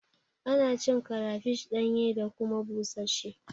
Ana cin karafish ɗanye da kuma busasshe